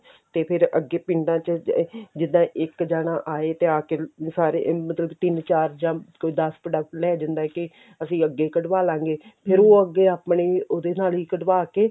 ਤੇ ਫਿਰ ਅੱਗੇ ਪਿੰਡਾਂ ਚ ਜਿੱਦਾਂ ਇੱਕ ਜਣਾ ਆਏ ਤੇ ਆ ਕੇ ਆਹ ਸਾਰੇ ਮਤਲਬ ਤਿੰਨ ਚਾਰ ਜਾਂ ਕੋਈ ਦੱਸ product ਲੈ ਜਾਂਦਾ ਕੇ ਅਸੀਂ ਅੱਗੇ ਕਢਵਾ ਲਾਂਗੇ ਫਿਰ ਉਹ ਅੱਗੇ ਆਪਣੇ ਉਹਦੇ ਨਾਲ ਹੀ ਕਢਵਾ ਕੇ